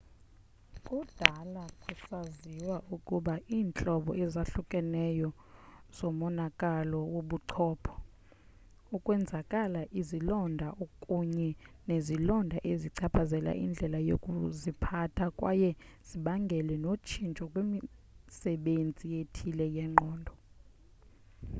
kudala kusaziwa ukuba iintlobo ezahlukeneyo zomonakalo wobuchopho ukwenzakala izilonda kunye nezilonda zichaphazela indlela yokuziphatha kwaye zibangele notshintsho kwimisebenzi ethile yengqondo